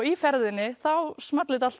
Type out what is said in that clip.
í ferðinni small þetta allt